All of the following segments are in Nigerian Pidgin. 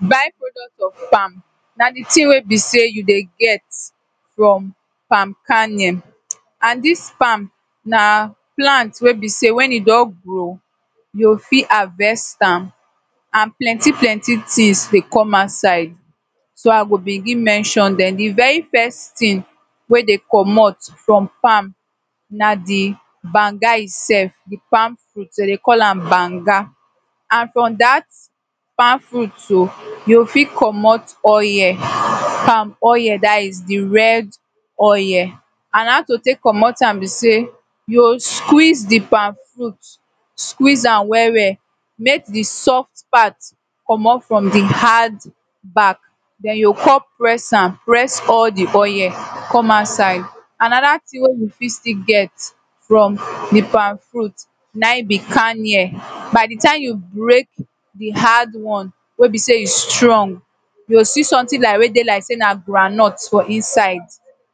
by product of palm na the thing wey be say you dey get from palm kennel and this farm na plant wey be sey when e be don grow you fit havest am and plenty plenty things dey come outside so i go begin mention then the very first thing wey dey commot from palm na the banga itself the palmfruit dem dey call am banga and from that palm fruit too you go fit commot oil palm oil that is the red oil and how to take commot am be sey you go squeeze the palmfruit squeeze am well well make the soft part commot from the hard back then you go come press am press all the oil come outside another thing wey you fit still get from the palmfruit na him be kennel by the time you break the hard one wey be sey e strong you go see something like wey dey like sey na groundnut for inside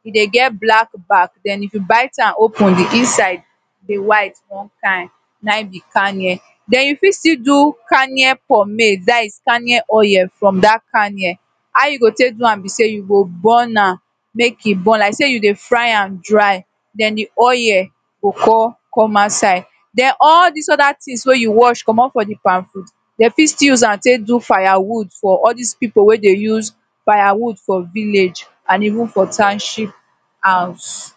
e dey get black back then but if you bite am open the inside e go white one kain na him be kennel then you fit still do kennel pomade that is kennel oil from that kennel how you go take do am be sey you go burn am make e boil like sey you dey fry am dry then the oil go fall come outside then all these other thing wey you wash commot from the palmfruit dey fit still use am take do fire wood for all these people wey dey use firewood for villiage and even for township house